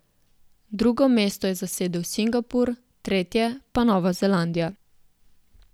Drugo mesto je zasedel Singapur, tretje pa Nova Zelandija.